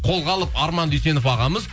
қолға алып арман дүйсенов ағамыз